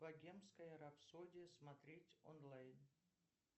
богемская рапсодия смотреть онлайн